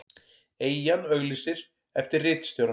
Eyjan auglýsir eftir ritstjóra